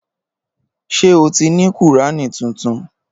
Ṣé o ti ní Kùrání tuntun?